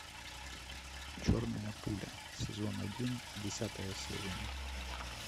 черная пуля сезон один десятая серия